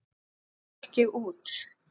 Svo gekk ég út.